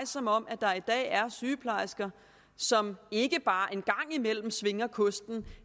som om der i dag er sygeplejersker som ikke bare en gang imellem svinger kosten